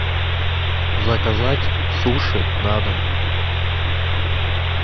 заказать суши на дом